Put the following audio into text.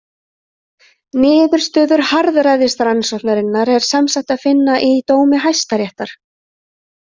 Niðurstöður harðræðisrannsóknarinnar er sem sagt að finna í dómi Hæstaréttar.